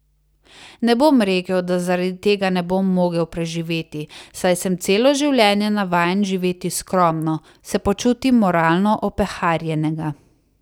Ne bom rekel, da zaradi tega ne bom mogel preživeti, saj sem celo življenje navajen živeti skromno, se pa čutim moralno opeharjenega.